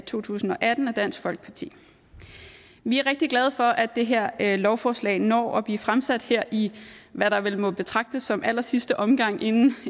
to tusind og atten af dansk folkeparti vi er rigtig glade for at det her lovforslag når at blive fremsat her i hvad der vel må betragtes som allersidste omgang inden